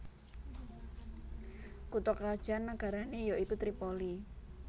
Kutha krajan nagarané ya iku Tripoli